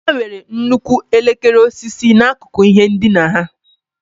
Ha nwere nnukwu elekere osisi n'akụkụ ihe ndina ha.